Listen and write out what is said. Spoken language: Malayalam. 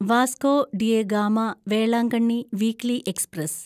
Vasco da Gama Velankanni weekly express